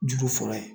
Juru fɔlɔ ye